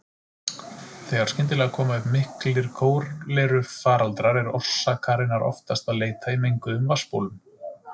Þegar skyndilega koma upp miklir kólerufaraldrar er orsakarinnar oftast að leita í menguðum vatnsbólum.